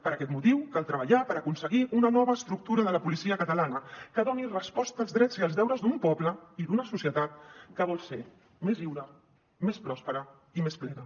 per aquest motiu cal treballar per aconseguir una nova estructura de la policia catalana que doni resposta als drets i els deures d’un poble i d’una societat que vol ser més lliure més pròspera i més plena